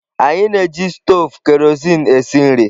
Anyị na-eji stovu kerosene esi nri.